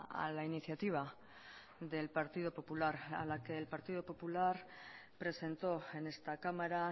a la iniciativa del partido popular a la que el partido popular presentó en esta cámara